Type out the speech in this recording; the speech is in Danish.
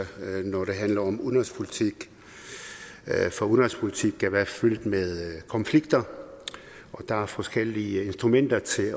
når det handler om udenrigspolitik for udenrigspolitik kan være fyldt med konflikter der er forskellige instrumenter til